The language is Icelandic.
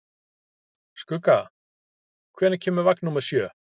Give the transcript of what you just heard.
Skugga, hvenær kemur vagn númer sjö?